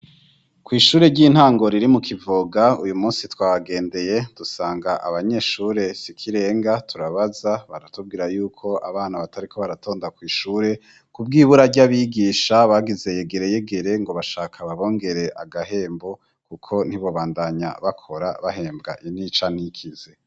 Kw'ishure ry'intango riri mu kivuga uyu musi twabagendeye dusanga abanyeshure sikirenga turabaza baratubwira yuko abana batariko baratonda kw'ishure ku bwo ibura rya abigisha bagize yegereyegere ngo bashaka babongere agahembo, kuko ntibobandanya bakora bahembwa inica n'ikiza.